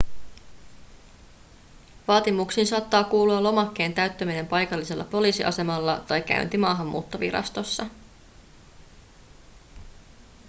vaatimuksiin saattaa kuulua lomakkeen täyttäminen paikallisella poliisiasemalla tai käynti maahanmuuttovirastossa